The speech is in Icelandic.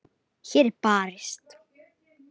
Hér er barist.